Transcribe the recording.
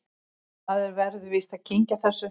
Maður verður víst að kyngja þessu